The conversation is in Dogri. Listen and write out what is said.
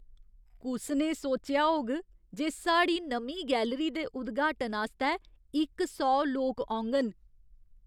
कुसने सोचेआ होग जे साढ़ी नमीं गैलरी दे उद्घाटन आस्तै इक सौ लोक औङन?